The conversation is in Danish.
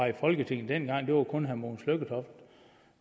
i folketinget dengang det var kun herre mogens lykketoft